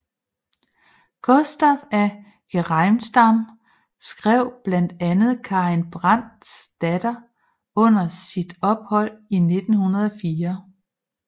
Gustaf af Geijerstam skrev blandt andet Karin Brandts datter under sit ophold i 1904